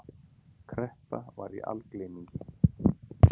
Kreppa var í algleymingi.